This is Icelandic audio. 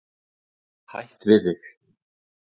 Hætt við þig.